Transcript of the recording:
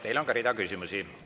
Teile on rida küsimusi.